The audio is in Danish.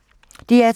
DR2